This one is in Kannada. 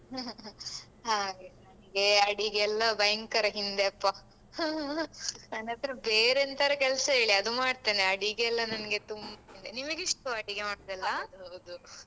ಹಾಗೆ ನನ್ಗೆ ಅಡಿಗೆಯೆಲ್ಲ ಭಯಂಕರ ಹಿಂದೆ ಅಪ್ಪ ನನ್ಹತ್ರ ಬೇರೆ ಎಂತಾರು ಕೆಲ್ಸ ಹೇಳಿ ಅದು ಮಾಡ್ತೇನೆ ಅಡಿಗೆಯೆಲ್ಲ ನನ್ಗೆ ತುಂ ನಿಮಗಿಷ್ಟವ ಅಡಿಗೆ ಮಾಡುದೆಲ್ಲ ಹೌದು.